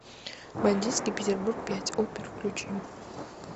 бандитский петербург пять опер включи